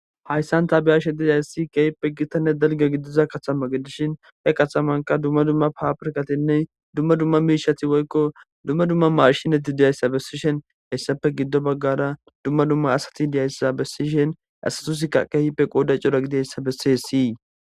''Hayssan ta be'ashe dizayssi kehippe gitanne dalga gidiza katama gidishin, he katamanka duma duma Faafirkatinne duma duma miishati woykko duma duma maachineti dizayssa besishin, hesappe gido bagara duma duma asati dizaysa besishin asatusika keehipe qooday cora gidizaysa besessi.''